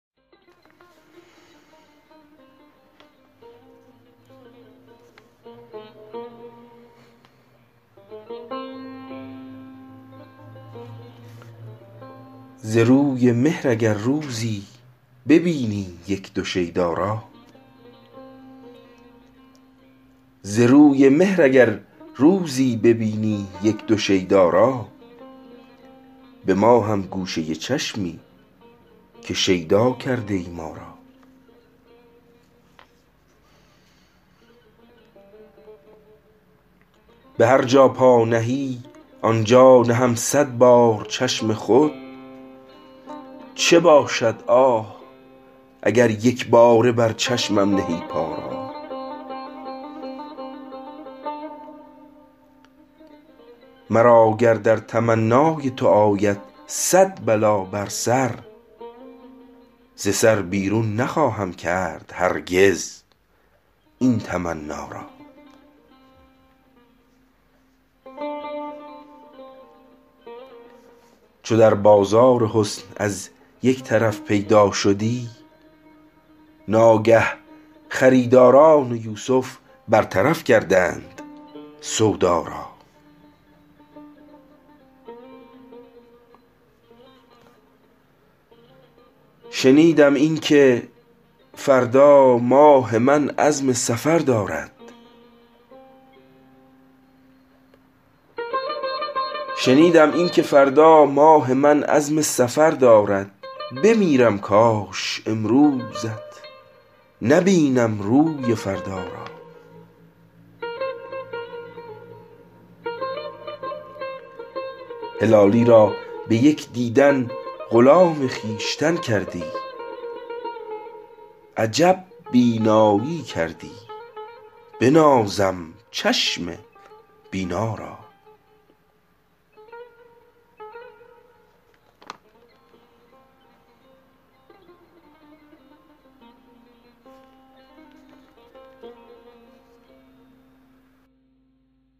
ز روی مهر اگر روزی ببینی یک دو شیدا را به ما هم گوشه چشمی که شیدا کرده ای ما را به هر جا پا نهی آن جا نهم صد بار چشم خود چه باشد آه اگر یک باره بر چشمم نهی پا را مرا گر در تمنای تو آید صد بلا بر سر ز سر بیرون نخواهم کرد هرگز این تمنا را چو در بازار حسن از یک طرف پیدا شدی ناگه خریداران یوسف برطرف کردند سودا را شنیدم این که فردا ماه من عزم سفر دارد بمیرم کاش امروزت نبینم روی فردا را هلالی را به یک دیدن غلام خویشتن کردی عجب بیناییی کردی بنازم چشم بینا را